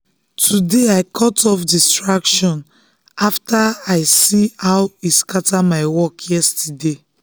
today i cut off distraction after i see how e scatter my work yesterday.